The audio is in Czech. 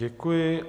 Děkuji.